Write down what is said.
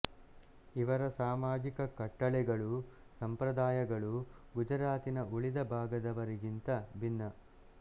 ಇವರ ಸಾಮಾಜಿಕ ಕಟ್ಟಳೆಗಳೂ ಸಂಪ್ರದಾಯಗಳೂ ಗುಜರಾತಿನ ಉಳಿದ ಭಾಗದವರವಕ್ಕಿಂತ ಭಿನ್ನ